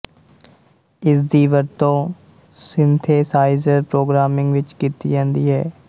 ਇਸਦੀ ਵਰਤੋਂ synthesiser programming ਵਿੱਚ ਕੀਤੀ ਜਾਂਦੀ ਹੈ